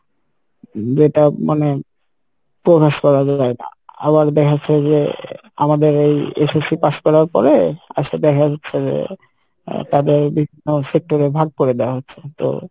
যেটা মানে প্রকাশ করা যাই না আবার দেখা যাচ্ছে যে আমাদের এই SSC pass করার পরে আসে দেখা যাচ্ছে যে আহ তাদের বিভিন্ন sector এ ভাগ করে দেওয়া হচ্ছে তো